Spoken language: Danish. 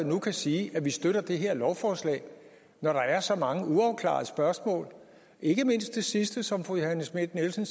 nu kan sige at man støtter det her lovforslag når der er så mange uafklarede spørgsmål ikke mindst det sidste for som fru johanne schmidt nielsen